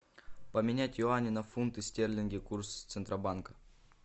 поменять юани на фунты стерлинги курс центробанка